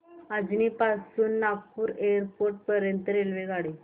अजनी पासून नागपूर एअरपोर्ट पर्यंत रेल्वेगाडी